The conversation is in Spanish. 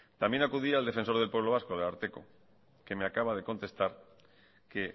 también acudí al defensor del pueblo vasco al ararteko que me acaba de contestar que